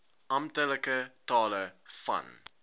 amptelike tale van